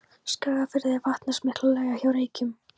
Skagafirði eru vatnsmiklar laugar hjá Reykjum og